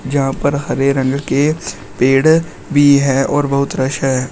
यहां पर हरे रंग के पेड़ भी है और बहुत रस है।